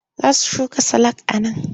Za su shuka salak a nan.